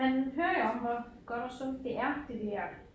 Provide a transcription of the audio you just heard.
Man hører jo om hvor godt og sundt det er det der